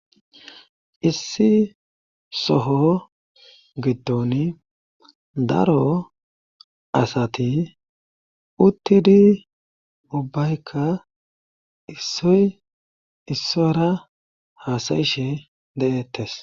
issi soho giddon daro asati uttidi ubbaykka issoy issora haasayishe de7ettes